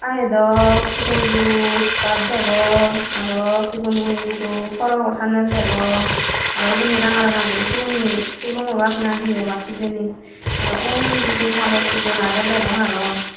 a ye daw sigon guro iskat degong araw sigon guro porogo sannen degong araw uboni ranga ranga guri sigun hee sulum obak na hi obak hijeni araw unni hi habor sugor age degong araw.